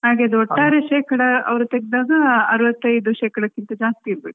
ಹಾಗೆ ಅದ್ರ ಒಟ್ಟಾರೆ ಶೇಕಡಾ ಅವ್ರು ತೆಗ್ದಾಗ ಅರವತ್ತೈದು ಶೇಕಡಕಿಂತ ಜಾಸ್ತಿ ಇರ್ಬೇಕು